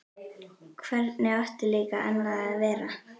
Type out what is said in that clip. Hvernig átti líka annað að vera?